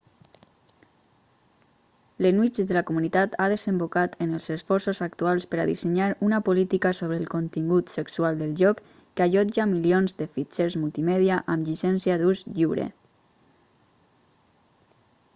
l'enuig de la comunitat ha desembocat en els esforços actuals per a dissenyar una política sobre el contingut sexual del lloc que allotja milions de fitxers multimèdia amb llicència d'ús lliure